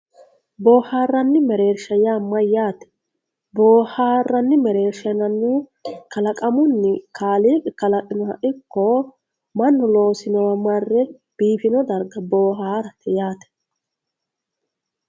boohaarranni mereersha yaa mayyate boohaarranni mereersha yinannihu kalaqamu kaaliiqi kalaqinoha ikki mannu loosinowa marre biifino darga boohaarate yaate.